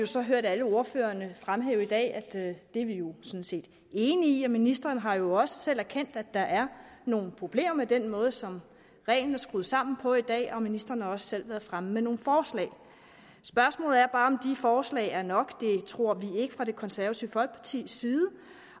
så hørt alle ordførerne fremhæve i dag og det er vi konservative jo sådan set enige i ministeren har jo også selv erkendt at der er nogle problemer med den måde som reglen er skruet sammen på i dag og ministeren har også selv været fremme med nogle forslag spørgsmålet er bare om de forslag er nok det tror vi ikke fra det konservative folkepartis side